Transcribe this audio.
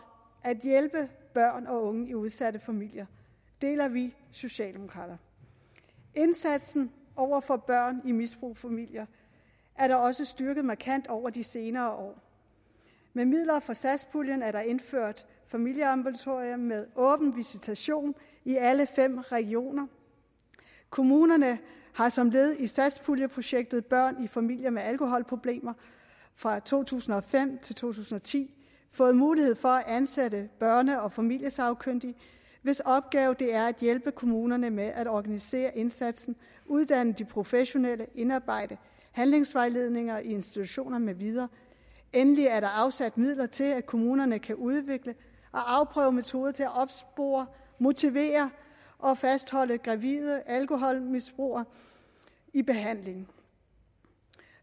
at hjælpe børn og unge i udsatte familier deler vi socialdemokrater indsatsen over for børn i misbrugsfamilier er da også styrket markant over de senere år med midler fra satspuljen er der indført familieambulatorier med åben visitation i alle fem regioner kommunerne har som led i satspuljeprojektet børn i familier med alkoholproblemer fra to tusind og fem til to tusind og ti fået mulighed for at ansætte børne og familiesagkyndige hvis opgave det er at hjælpe kommunerne med at organisere indsatsen uddanne de professionelle og indarbejde handlingsvejledninger i institutioner med videre endelig er der afsat midler til at kommunerne kan udvikle og afprøve metoder til at opspore motivere og fastholde gravide alkoholmisbrugere i behandling